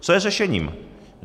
Co je řešením?